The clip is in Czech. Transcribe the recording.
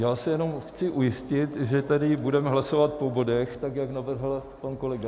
Já se jenom chci ujistit, že tedy budeme hlasovat po bodech, tak jak navrhl pan kolega.